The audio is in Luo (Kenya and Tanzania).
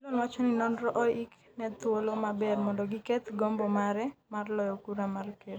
Fillon wacho ni nonro oik ne thuolo maber mondo giketh gombo mare mar loyo kura mar ker